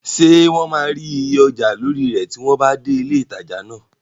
Ṣé wọn máa rí iye ọjà lórí rẹ̀ tí wọ́n bá dé ilé ìtajà náà?